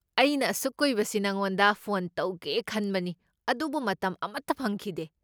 ꯑꯩꯅ ꯑꯁꯨꯛ ꯀꯨꯏꯕꯁꯤ ꯅꯉꯣꯟꯗ ꯐꯣꯟ ꯇꯧꯒꯦ ꯇꯧꯕꯅꯤ ꯑꯗꯨꯕꯨ ꯃꯇꯝ ꯑꯃꯠꯇ ꯐꯪꯈꯤꯗꯦ꯫